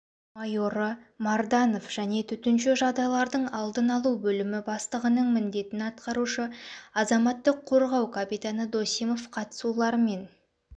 майоры марданов және төтенше жағдайлардың алдын-алу бөлімі бастығының міндетін атқарушы азаматтық қорғау капитаны досимов қатысуларымен